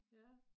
Ja